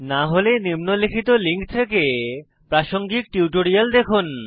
না হলে নিম্নলিখিত লিঙ্ক থেকে প্রাসঙ্গিক টিউটোরিয়াল দেখুন